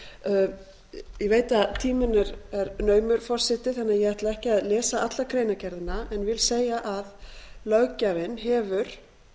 sex nítján ég veit að tíminn er naumur forseti þannig að ég ætla ekki að lesa alla greinargerðina en vil segja að löggjafinn hefur